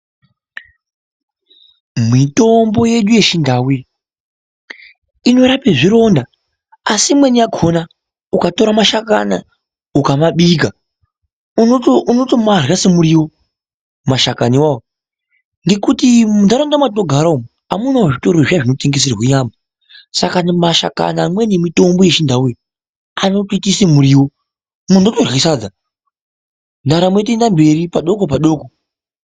Mwitombo yedu yechindau iyi inorape zvironda asi imwe yakhona, ukatora mashakana, ukamabika unoto unotomarya semuriwo mashakani iwawo ngekuti mundaraunda matinogara amunawo zvitoro zvinotengeserwe nyama saka mashakani amweni mitombo yechindauyo, anobika semuriwo munhu otorya sadza, ndaramo yeitoenda mberi padoko nepadoko.